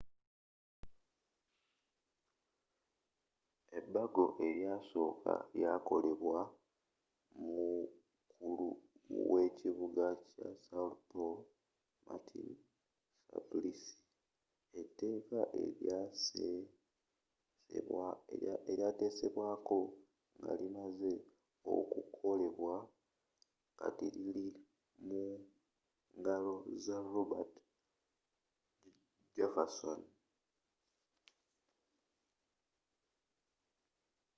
ebago eryasookawo lyakolebwaako omukulu w’ekibuga kya são paulo marta suplicy. eteeka elyatesesbwaako ngalimazze okukolebwa kati lili mu ngalo za roberto jefferson